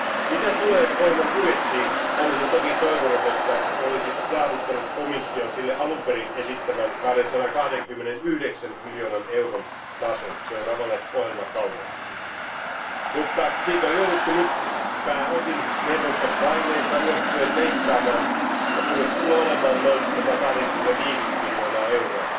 Mitä tulee ohjelman budjettiin, olisin toki toivonut, että se olisi saavuttanut komission sille alun perin esittämän 229 miljoonan euron tason seuraavalle ohjelmakaudelle, mutta sitä on jouduttu nyt pääosin neuvoston paineesta johtuen leikkaamaan ja budjetti tulee olemaan noin 185 miljoonaa euroa.